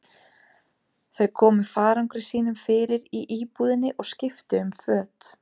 Þau komu farangri sínum fyrir í íbúðinni og skiptu um föt.